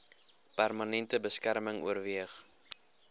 permanente beskerming oorweeg